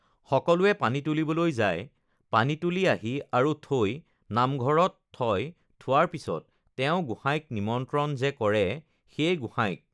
সকলোৱে পানী তুলিবলৈ যায় পানী তুলি আহি আৰু থৈ নামঘৰত থয় থোৱাৰ পিছত তেওঁ গোঁসাইক নিমন্ত্ৰণ যে কৰে সেই গোঁসাইক